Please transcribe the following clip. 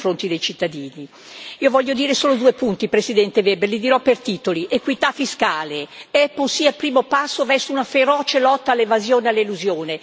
Io voglio dire solo due punti, Presidente Weber, li dirò per titoli equità fiscale il primo passo verso una feroce lotta all'evasione e all'elusione ed equità sociale.